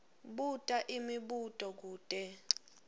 buta imibuto kute